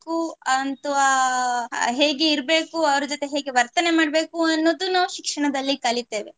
ಅಂತು ಅಹ್ ಹೇಗೆ ಇರ್ಬೇಕು ಅವ್ರು ಜೊತೆ ಹೇಗೆ ವರ್ತನೆ ಮಾಡ್ಬೇಕು ಅನ್ನುದು ನಾವು ಶಿಕ್ಷಣದಲ್ಲಿ ಕಲಿತೇವೆ.